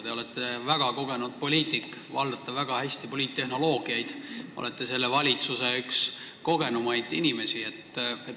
Te olete väga kogenud poliitik, valdate väga hästi poliittehnoloogiaid, olete selle valitsuse üks kõige kogenumaid inimesi.